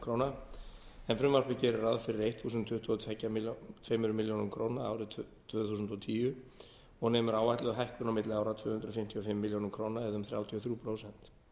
króna en frumvarpið gerir ráð fyrir þúsund tuttugu og tvær milljónir króna árið tvö þúsund og tíu og nemur áætluð hækkun á milli ára tvö hundruð fimmtíu og fimm milljónir króna eða um þrjátíu og þrjú prósent